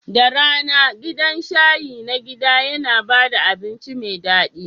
Da rana, gidan shayi na gida yana ba da abinci mai daɗi.